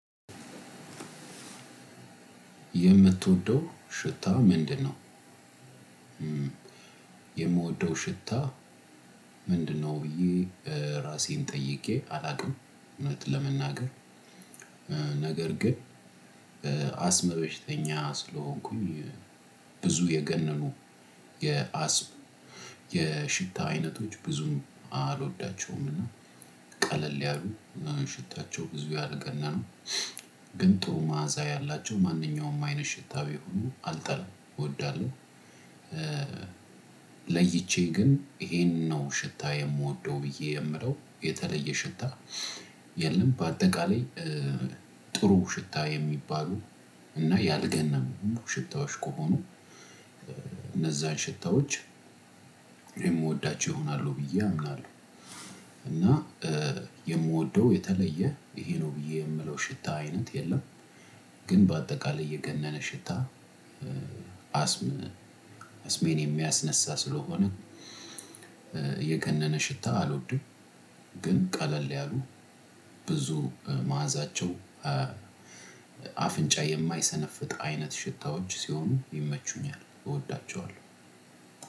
የምትወደው ሽታ ምንድነው? የምወደው ሽታ ምንድነው ብዬ ራሴን ጠይቄ አላውቅም እውነት ለመናገር፣ ነገር ግን አስመ በሽተኛ ስለሆንኩኝ ብዙ የገነኑ የአስም የሽታ አይነቶች ብዙም አልወዳቸውምና ቀለል ያሉ ሽታቸው ብዙ ያልገነነ ግን ጥሩ መዓዛ ያላቸው ማንኛውም አይነት ሽታ ቢሆኑ አልጠላም፣ እወዳለሁ። ለይቼ ግን ይሄንን ነው ሽታ የምወደው ብዬ የምለው የተለየ ሽታ የለም በአጠቃላይ ጥሩ ሽታ የሚባሉ እና ያልገነኑ ሽታዎች ከሆኑ እነዛን ሽታዎች የምወዳቸው ይሆናሉ ብዬ አምናለሁ። እና የምወደው የተለየ ይሄ ነው ብዬ የምለው ሽታ አይነት የለም። ግን በአጠቃላይ የገነነ ሽታ አስም አስሜን የሚያስነሳ ስለሆነ የገነነ ሽታ አልወድም። ግን ቀለል ያሉ ብዙ መዓዛቸው አፍንጫ የማይሰነፍጥ አይነት ሽታዎች ሲሆኑ ይመቹኛል፣ እወዳቸዋለሁ።